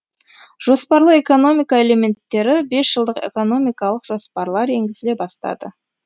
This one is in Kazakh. жоспарлы экономика элементтері бесжылдық экономикалық жоспарлар енгізіле бастады